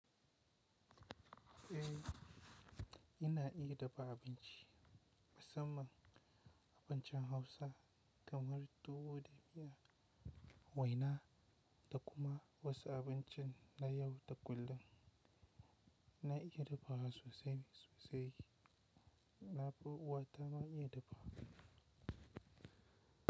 Eh, ina iya dafa abinci. Musamman abincin Hausa kamar tuwo da miya, waina da kuma wasu abincin na yau da kullum. Na iya dafawa sosai sosai. Na fi uwata ma iya dafa.